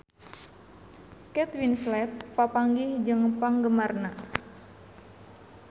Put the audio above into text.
Kate Winslet papanggih jeung penggemarna